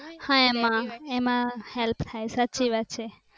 હા એમા એમા help થાય સાચી વાત છે